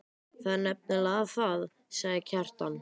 Það er nefnilega það, sagði Kjartan.